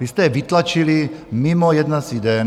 Vy jste je vytlačili mimo jednací den.